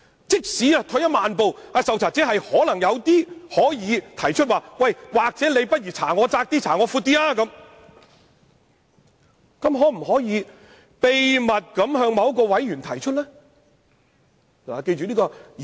即使退一萬步，受查者可要求擴大或收窄調查範圍，他又可否秘密地向某名委員提出意見呢？